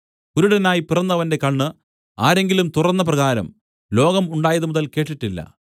കുരുടനായി പിറന്നവന്റെ കണ്ണ് ആരെങ്കിലും തുറന്നപ്രകാരം ലോകം ഉണ്ടായതുമുതൽ കേട്ടിട്ടില്ല